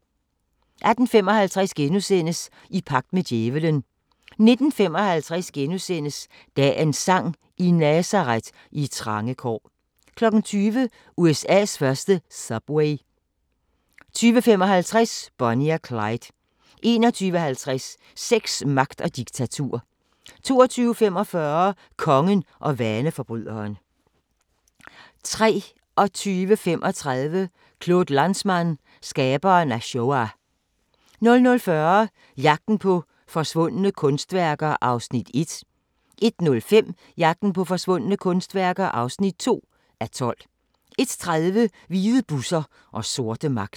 18:55: I pagt med djævelen * 19:55: Dagens sang: I Nazaret, i trange kår * 20:00: USA's første subway 20:55: Bonnie og Clyde 21:50: Sex, magt og diktatur 22:45: Kongen og vaneforbryderen 23:35: Claude Lanzmann – skaberen af Shoah 00:40: Jagten på forsvundne kunstværker (1:12) 01:05: Jagten på forsvundne kunstværker (2:12) 01:30: Hvide busser og sorte magter